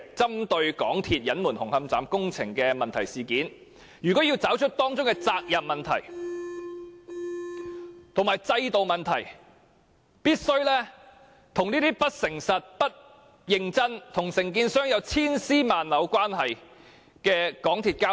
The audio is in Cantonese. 針對港鐵公司隱瞞紅磡站工程的問題一事，若要調查當中的責任問題和制度問題，便必須與不誠實、不認真、與承建商有千絲萬縷關係的港鐵公司交手。